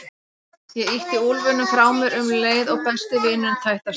Ég ýtti úlfinum frá mér um leið og besti vinurinn tætti af stað.